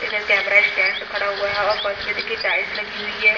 इधर camera stand खड़ा हुआ है और फर्स्ट भी देखिये टाइल्स लगी हुई है।